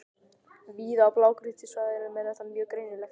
Víða á blágrýtissvæðunum er þetta mjög greinilegt.